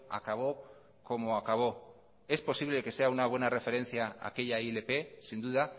acabó como acabó es posible que sea una buena referencia aquella ilp sin duda